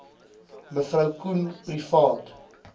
me koen privaat